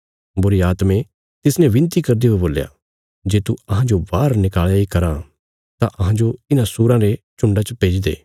बुरीआत्में तिसने बिनती करदे हुये बोल्या जे तू अहांजो बाहर निकल़या इ करां ए तां अहांजो इन्हां सूराँ रे झुण्डा च भेजी दे